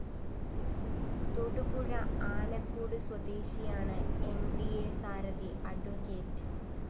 തൊടുപുഴ ആനക്കൂട് സ്വദേശിയാണ് ന്‌ ഡി അ സാരഥി അഡ്വ